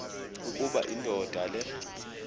ukuba indoda le